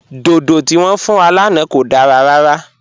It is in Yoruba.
Dòdò tí wọn fún wa lánà kò dára rárà.